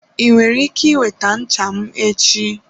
Ị nwere ike iweta ncha m echi?